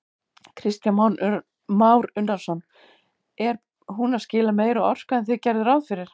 Kristján Már Unnarsson: Er hún að skila meiri orku en þið gerðuð ráð fyrir?